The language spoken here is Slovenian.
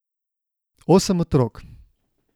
Osem otrok.